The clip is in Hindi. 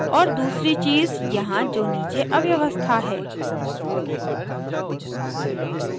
और दूसरी चीज़ यहाँ जो नीचे अव्यवस्था है